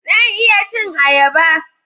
Zan iya cin ayaba.